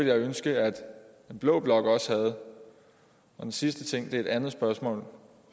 jeg ønske at blå blok også havde den sidste ting er et andet spørgsmål